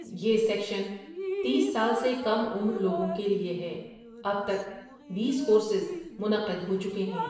یہ سیکشن تیس سال سے کم عمر لوگوں کے لئے ہے اب تک ، بیس کورسز منعقد ہوچکے ہیں ۔